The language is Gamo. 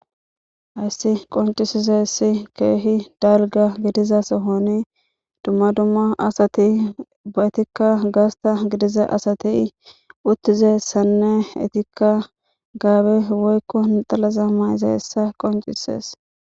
Hayssi qoncisizessi keehi dalga gidiza sohoni dumma dumma asati ba etikka gaasta gidiza asati uttizessanne etikka gaabe woykko naxalaza mayze hessa qoncisees.